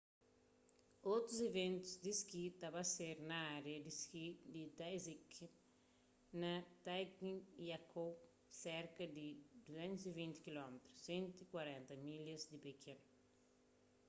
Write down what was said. otus iventus di ski ta ba ser na ária di ski di taizicheng na zhangjiakou serka di 220 km 140 milhas di pekin